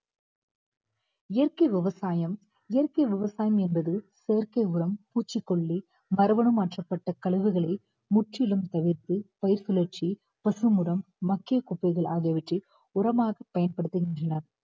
இயற்கை விவசாயம் இயற்கை விவசாயம் என்பது செயற்கை உரம் பூச்சிக்கொல்லி மறு குணம் மாற்றப்பட்ட கழிவுகளை முற்றிலும் தவிர்த்து பயிர் கிளர்ச்சி, பசு உரம் மக்கிய குப்பைகள் ஆகியவற்றை உரமாக பயன்படுத்துகின்றன